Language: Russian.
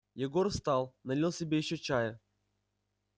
егор встал налил себе ещё чая